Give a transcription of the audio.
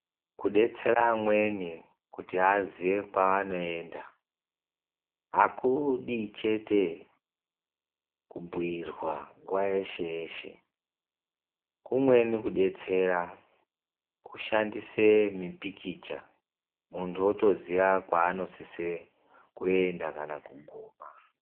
Kudetsera amweni kuti aziye kwaanoenda, akudi chete kubhuyirwa nguwa yeshe yeshe, kumweni kudetsera kushandise mipikicha, muntu otoziya kwaanosise kuenda kana kuguma.